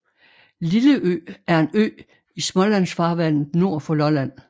Lilleø er en ø i Smålandsfarvandet nord for Lolland